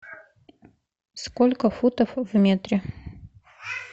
сколько футов в метре